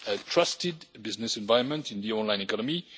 trusted business environment in the online economy.